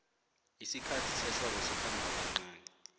isikhathi sehlobo sikhomba kancani